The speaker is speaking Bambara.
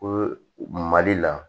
Ko mali la